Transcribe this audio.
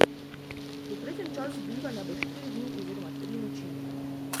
Povprečen čas bivanja bo štiri dni oziroma tri noči.